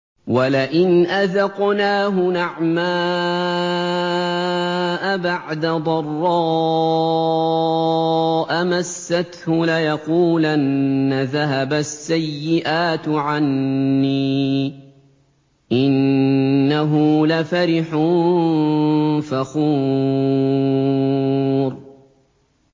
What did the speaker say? وَلَئِنْ أَذَقْنَاهُ نَعْمَاءَ بَعْدَ ضَرَّاءَ مَسَّتْهُ لَيَقُولَنَّ ذَهَبَ السَّيِّئَاتُ عَنِّي ۚ إِنَّهُ لَفَرِحٌ فَخُورٌ